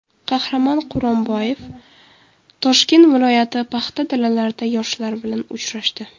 Qahramon Quronboyev Toshkent viloyati paxta dalalarida yoshlar bilan uchrashdi.